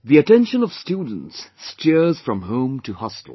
The attention of students steers from home to hostel